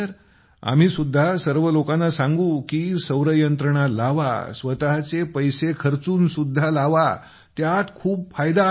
आम्ही सुद्धा सर्व लोकांना सांगू कीसौर यंत्रणा लावा स्वतचे पैसे खर्चून सुद्धा लावा त्यात खूप फायदा आहे